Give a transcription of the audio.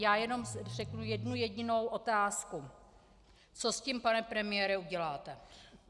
Já jenom řeknu jednu jedinou otázku: Co s tím, pane premiére, uděláte?